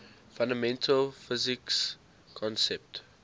fundamental physics concepts